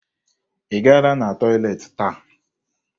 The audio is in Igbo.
Ị gara na tọyịleetị taa?